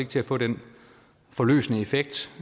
til at få den forløsende effekt